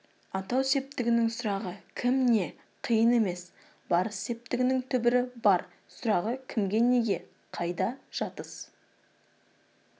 атау септігінің сұрағы кім не қиын емес барыс септігінің түбірі бар сұрағы кімге неге қайда жатыс